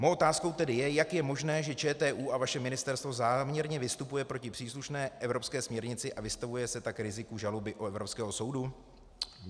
Mou otázkou tedy je, jak je možné, že ČTÚ a vaše ministerstvo záměrně vystupuje proti příslušné evropské směrnici a vystavuje se tak riziku žaloby od Evropského soudu.